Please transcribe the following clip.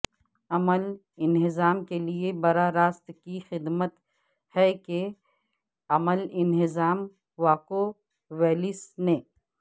عمل انہضام کے لئے براہ راست کی خدمت ہے کہ عمل انہضام واکوولیس نے